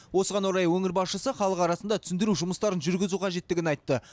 осыған орай өңір басшысы халық арасында түсіндіру жұмыстарын жүргізу қажеттігін айтты